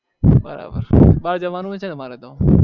બરાબર બાર જવાનું છે અમારે તો